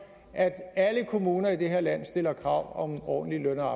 at alle kommuner i det her land stiller krav om ordentlige